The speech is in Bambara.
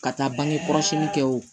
Ka taa bange kɔlɔsili kɛ o